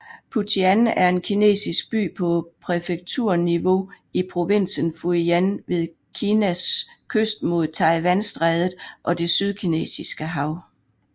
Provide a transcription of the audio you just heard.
Putian er en kinesisk by på præfekturniveau i provinsen Fujian ved Kinas kyst mod Taiwanstrædet og det Sydkinesiske hav